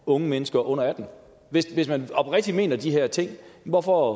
unge mennesker under atten år hvis hvis man oprigtigt mener de her ting hvorfor